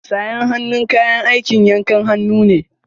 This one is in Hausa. Sayen hannu kayan aikin yankan hannu ne.